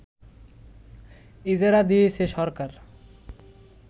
ইজারা দিয়েছে সরকার